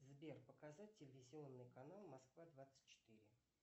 сбер показать телевизионный канал москва двадцать четыре